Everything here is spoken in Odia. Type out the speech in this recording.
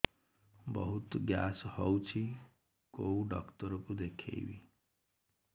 ବହୁତ ଗ୍ୟାସ ହଉଛି କୋଉ ଡକ୍ଟର କୁ ଦେଖେଇବି